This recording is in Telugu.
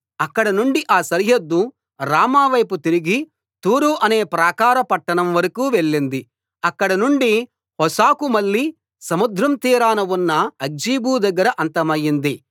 అక్కడ నుండి ఆ సరిహద్దు రామా వైపు తిరిగి తూరు అనే ప్రాకార పట్టణం వరకూ వెళ్ళింది అక్కడ నుండి హోసాకు మళ్ళి సముద్ర తీరాన ఉన్న అక్జీబు దగ్గర అంతమయింది